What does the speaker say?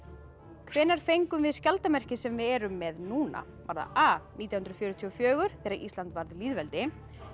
hvenær fengum við skjaldarmerkið sem við erum með núna var það a nítján hundruð fjörutíu og fjögur þegar Ísland varð lýðveldi